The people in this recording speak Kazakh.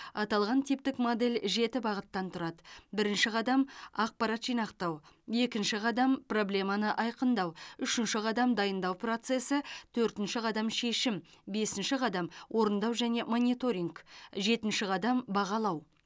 аталған типтік модель жеті бағыттан тұрады бірінші қадам ақпарат жинақтау екінші қадам проблеманы айқындау үшінші қадам дайындау процесі төртінші қадам шешім бесінші қадам орындау және мониторинг жетінші қадам бағалау